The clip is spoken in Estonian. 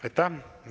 Aitäh!